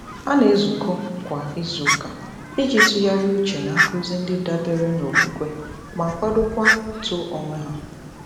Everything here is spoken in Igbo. Ha na-ezukọ kwa izuụka iji tụgharị uche na nkuzi ndị dabere n'okwukwe ma kwadokwa uto onwe ha.